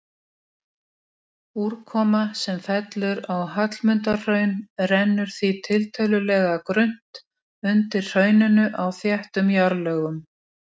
Höfundur þakkar Eyju Margréti Brynjarsdóttur skemmtilegar og gagnlegar umræður um þetta svar.